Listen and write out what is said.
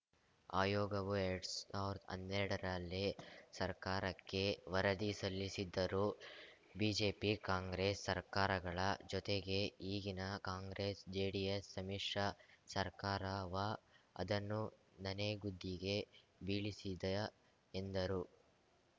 ಆಯೋಗವು ಎರಡ್ ಸಾವಿರ್ದಾ ಹನ್ನೆರಡರಲ್ಲೇ ಸರ್ಕಾರಕ್ಕೆ ವರದಿ ಸಲ್ಲಿಸಿದ್ದರೂ ಬಿಜೆಪಿ ಕಾಂಗ್ರೆಸ್‌ ಸರ್ಕಾರಗಳ ಜೊತೆಗೆ ಈಗಿನ ಕಾಂಗ್ರೆಸ್‌ಜೆಡಿಎಸ್‌ ಸಮ್ಮಿಶ್ರ ಸರ್ಕಾರವ ಅದನ್ನು ನನೆಗುದಿಗೆ ಬೀಳಿಸಿದ ಎಂದರು